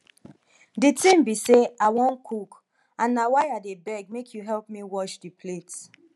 the thing be say i wan cook and na why i dey beg make you help me wash the plate